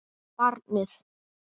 Og barnið.